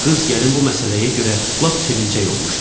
Qız gəlin bu məsələyə görə lap sevinclək olmuşdu.